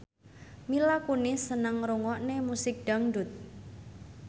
Mila Kunis seneng ngrungokne musik dangdut